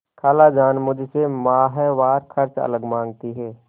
खालाजान मुझसे माहवार खर्च अलग माँगती हैं